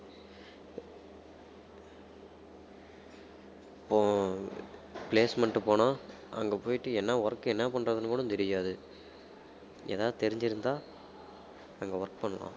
இப்போ placement போனா அங்க போயிட்டு என்ன work என்ன பண்றதுன்னு கூட தெரியாது ஏதாவது தெரிஞ்சிருந்தா அங்க work பண்ணலாம்